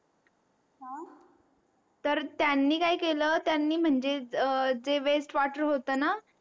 हा तर त्यांनी काय केलं त्यांनी म्हणजे जे होत ना